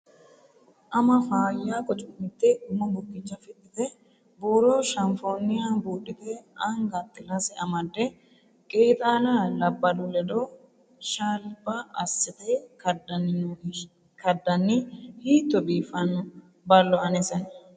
Ama faayya qucu'mite umo bukkicha fixite buuro shafoniha budhite anga xilase amade qeexxalla labbalu ledo shalba assite kadanni hiitto biifino ballo anesenna.